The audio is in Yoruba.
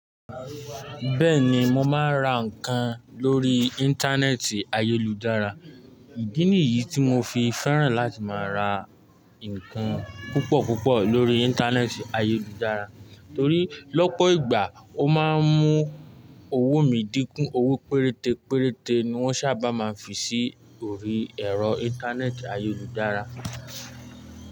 Bẹ́ẹ̀ni mo máa ń ra ǹkan lórí Íńtánẹ́ẹ̀tì ayélujára, ìdí nìyí tí mo fi fẹ́ràn láti máa ra ǹkan púpọ̀ púpọ̀ lórí Íńtánẹ́ẹ̀tì ayélujára torí lọ́pọ̀ ìgbà ó máa ń mú owó mi dínkù, owó péréte péréte ni wọ́n sábà máa ń fi sí orí ẹ̀rọ Íńtánẹ́ẹ̀tì ayélujára.